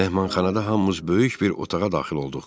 Mehmanxanada hamımız böyük bir otağa daxil olduq.